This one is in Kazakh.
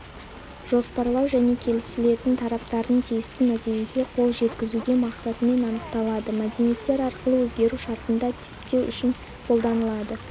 жоспарлау және келісілетін тараптардың тиісті нәтижеге қол жеткізуге мақсатымен анықталады мәдениеттер арқылы өзгеру шартында типтеу үшін қолданылады